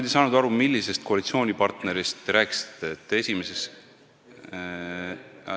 Ma ei saanud aru, millisest koalitsioonipartnerist te rääkisite.